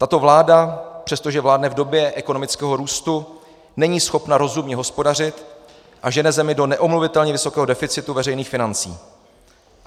Tato vláda, přestože vládne v době ekonomického růstu, není schopna rozumně hospodařit a žene zemi do neomluvitelně vysokého deficitu veřejných financí.